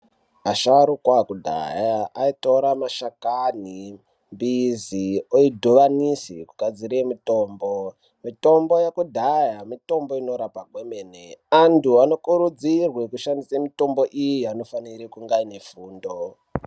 Vasharuka vekudhaya vaitora mashakani nemidzi oidhivanisa kugadzire mitombo, mitombo yekidhaya mitombo inorapa kwemene vanthu vanokurudzirwe kushandise mitombo iyi anofanire kunge aine fundo